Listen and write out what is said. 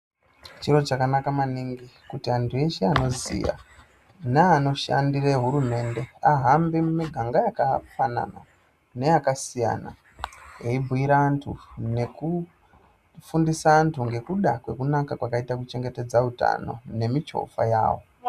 Chiro chakanaka maningi kuti antu eshe anoziya neanoshandire hurumende ahambe mumuganga yakafanana neyakasiyana eibhuira antu nekufundisa antu ngekuda kwakanaka kuchengetedza utano nemichovha yavo.